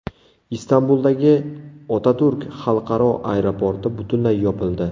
Istanbuldagi Otaturk xalqaro aeroporti butunlay yopildi.